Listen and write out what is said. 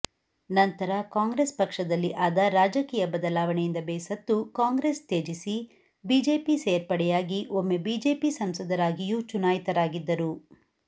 ನಂತರ ಕಾಂಗ್ರೆಸ್ ಪಕ್ಷದಲ್ಲಿ ಆದ ರಾಜಕೀಯ ಬದಲಾವಣೆಯಿಂದ ಬೇಸತ್ತು ಕಾಂಗ್ರೆಸ್ ತ್ಯಜಿಸಿ ಬಿಜೆಪಿ ಸೇರ್ಪಡೆಯಾಗಿ ಒಮ್ಮೆ ಬಿಜೆಪಿ ಸಂಸದರಾಗಿಯೂ ಚುನಾಯಿತರಾಗಿದ್ದರು